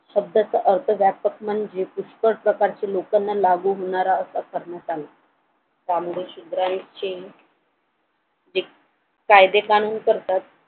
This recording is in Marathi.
शब्दाचा अर्थ व्यापक म्हणजे पुष्कळ प्रकारची लोकांना लागू होणारा कामगीर शिवरायांचे ते कायदे कानून करतात